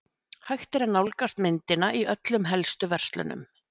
Hægt er að nálgast myndina í öllum helstu verslunum.